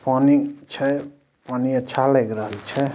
पानी छे पानी अच्छा लग रहा है छे।